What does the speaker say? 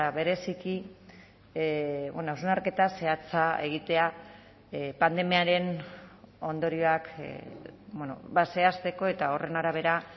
bereziki hausnarketa zehatza egitea pandemiaren ondorioak zehazteko eta horren arabera